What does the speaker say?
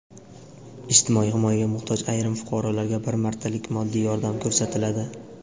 Ijtimoiy himoyaga muhtoj ayrim fuqarolarga bir martalik moddiy yordam ko‘rsatiladi.